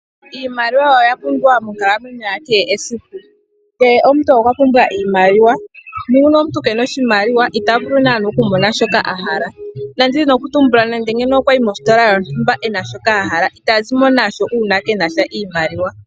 Iimaliwa oya pumbiwa monkalamwenyo yakehe esiku. Kehe omuntu okwa pumbwa iimaliwa, nuuna omuntu keena oshimaliwa, itavulu naana okumona shoka a hala. Ndazi nokutumbula nande okwayi mositola yontumba e na shoka ahala, itazimo nasho uuna keenasha iimaliwa.